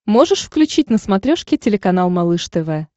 можешь включить на смотрешке телеканал малыш тв